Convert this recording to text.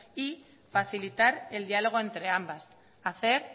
y facilitar el diálogo entre ambas hacer